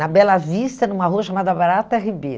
Na Bela Vista, numa rua chamada Barata Ribeiro.